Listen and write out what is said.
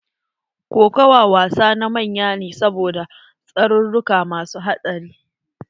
Kokawa wasa na manya ne saboda tsaruruka masu haɗari.